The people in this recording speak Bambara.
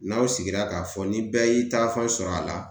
N'aw sigira k'a fɔ ni bɛɛ y'i taafan sɔrɔ a la